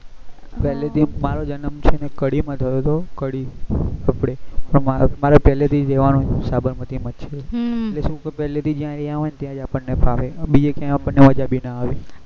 પેહલા થી જ મારો જન્મ છે ને એ કડી માં થયો હતો કડી કડી આપણે અમાર પેહલથી જ રેહવાનું સાબરમતી માં છે એટલે શું કે પેહલથી જ આપડે જ્યાં હોય ત્યાં આપણે ફાવે બીજે કાઈ આપડ ને મજા બી ન આવે